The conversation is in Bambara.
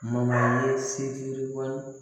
Ma ye se yi yiriban